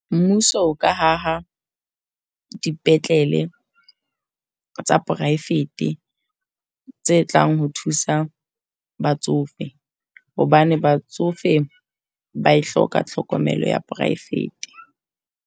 Mmuso o ka haha dipetlele tsa private tse tlang ho thusa batsofe. Hobane batsofe ba hloka tlhokomelo ya private.